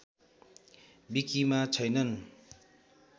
विकिमा छैनन्